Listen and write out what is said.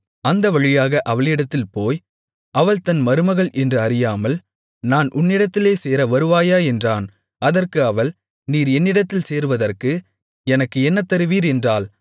அந்த வழியாக அவளிடத்தில் போய் அவள் தன் மருமகள் என்று அறியாமல் நான் உன்னிடத்தில் சேர வருவாயா என்றான் அதற்கு அவள் நீர் என்னிடத்தில் சேருவதற்கு எனக்கு என்ன தருவீர் என்றாள்